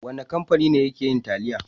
Wane kamfani ne yake yin taliya?